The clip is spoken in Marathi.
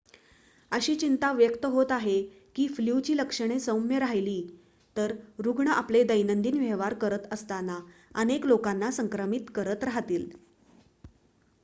अशी चिंता व्यक्त होत आहे की फ्लूची लक्षणे सौम्य राहिली तर रुग्ण आपले दैनंदिन व्यवहार करत असताना अनेक लोकांना संक्रमित करत राहतील